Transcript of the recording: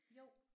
Jo